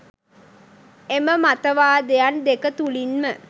එම මතවාදයන් දෙක තුළින්ම